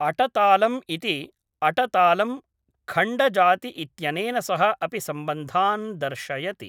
अटतालम् इति अटतालम् खण्डजाति इत्यनेन सह अपि सम्बन्धान् दर्शयति